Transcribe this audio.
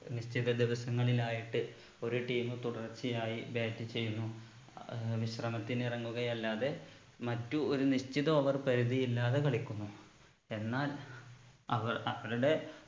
നിശ്ചിത ദിവസങ്ങളിലായിട്ട് ഒരു team തുടർച്ചയായി bat ചെയ്യുന്നു അഹ് ഏർ വിശ്രമത്തിന് ഇറങ്ങുകയല്ലാതെ മറ്റു ഒരു നിശ്ചിത over പരിധി ഇല്ലാതെ കളിക്കുന്നു എന്നാൽ അവർ അവരുടെ